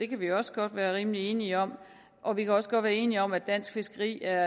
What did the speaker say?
kan vi også godt være rimelig enige om og vi kan også godt være enige om at dansk fiskeri er